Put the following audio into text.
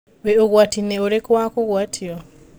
wĩ ũgwatinĩ ũrikũ wa kũgwatio?